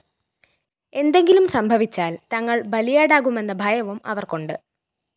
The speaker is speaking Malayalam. എന്തെങ്കിലും സംഭവിച്ചാല്‍ തങ്ങള്‍ ബലിയാടാകുമെന്ന ഭയവും അവര്‍ക്കുണ്ട്